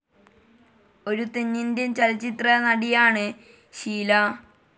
ഒരു തെന്നിന്ത്യൻ ചലച്ചിത്രനടിയാണ് ഷീല.